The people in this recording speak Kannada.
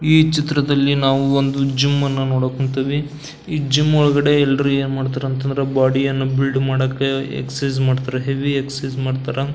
ಈ ಚಿತ್ರದಲ್ಲಿ ನಾವು ಒಂದು ಜುಮ್ಮನ್ನ ನೋಡೋಕ್ ಹೊಂತಿವಿ ಈ ಜಿಮ್ ಒಳಗಡೆ ಎಲ್ಲರು ಏನ್ಮಾಡ್ತಾರಂತನ್ದ್ರ ಬಾಡಿಯನ್ನ ಬಿಲ್ಡ್ ಮಾಡಾಕ ಎಕ್ಸೈಸ್ ಆನ್ನ ಮಾಡ್ತಾರಾ ಹೆವಿ ಎಕ್ಸೈಸ್ ಮಾಡ್ತಾರ.